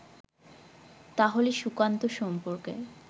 তাহলে সুকান্ত সম্পর্কে